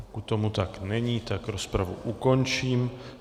Pokud tomu tak není, tak rozpravu ukončím.